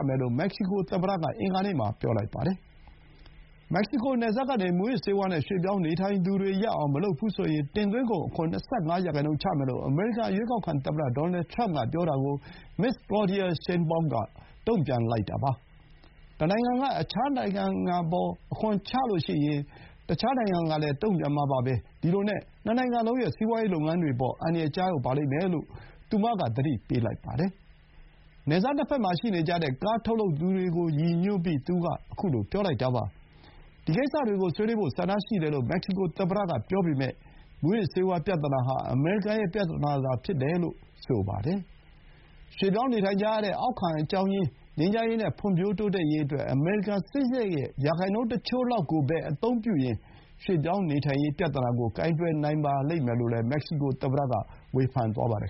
မယ်လို့ မက္ကဆီကို သမ္မတက အင်္ဂါနေ့မှာ ပြောလိုက်ပါတယ်။ နယ်စပ်ကနေ မူးယစ်ဆေးဝါး နဲ့ ရွှေ့ပြောင်းနေထိုင်သူတွေ ရပ်အောင် မလုပ်ဘူးဆိုရင်၊ တင်သွင်းကုန် အခွန် ၂၅ ရာခိုင်နှုန်း ချမယ်လို့ အမေရိကန်ရွေးကောက်ခံ သမ္မတ ဒေါ်နယ်ထရမ့်က ပြောတာကို မက္ကဆီကိုသမ္မတ Claudia Sheinbaum က တုံ့ပြန်လိုက်တာပါ။ "တနိုင်ငံက အခြားတနိုင်ငံအပေါ် အခွန်တိုးမြှင့်ရင် အခြားတနိုင်ငံကလည်း အလားတူ တုံ့ပြန်မှာပါပဲ။ ဒီလိုနဲ့ နှစ်နိုင်ငံလုံးရဲ့ စီးပွါးရေး လုပ်ငန်းတွေ အပေါ် အန္တရာယ် ကျရောက်လိမ့်မယ်" လို့ သူမက သတိပေးလိုက်ပါတယ်။ နယ်စပ် နှစ်ဘက်မှာ ရှိနေကြတဲ့ အမေရိကန် ကားထုတ်လုပ်သူတွေကို ရည်ညွှန်းပြီး သူက အခုလို ပြောလိုက်တာပါ။ ဒီကိစ္စတွေကို ဆွေးနွေးဖို့ ဆန္ဒရှိတယ်လို့ မက္ကဆီကို သမ္မတက ပြောပေမဲ့၊ မူးယစ်ဆေးဝါး ပြဿနာ ဟာ အမေရိကန် ရဲ့ ပြဿနာသာ ဖြစ်တယ်လို့လည်း ဆိုပါတယ်။ ရွှေ့ပြောင်းနေထိုင်ကြရတဲ့ အရင်းခံ အကြောင်းရင်း ငြိမ်းချမ်းရေး နဲ့ ဖွံဖြိုး တိုးတက်ရေးအတွက် အမေရိကန် စစ်စားရိတ်ရဲ့ ရာခိုင်နှုန်းတချို့လောက်ကိုပဲ အသုံးပြုရင်၊ ရွှေ့ပြောင်းနေထိုင်ရေး ပြဿနာကို ကိုင်တွယ်နိုင်ပါလိမ့်မယ်လို့လည်း မက္ကဆီကို သမ္မတ က ဝေဖန်သွားပါတယ်